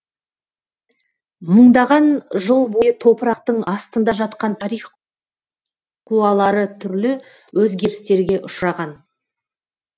мыңдаған жыл бойы топырақтың астында жатқан тарих қуалары түрлі өзгерістерге ұшыраған